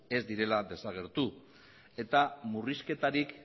ez direla desagertu eta murrizketarik